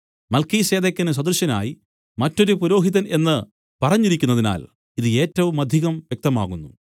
മൽക്കീസേദെക്കിന് സദൃശനായി മറ്റൊരു പുരോഹിതൻ എന്ന് പറഞ്ഞിരിക്കുന്നതിനാൽ ഇത് ഏറ്റവുമധികം വ്യക്തമാകുന്നു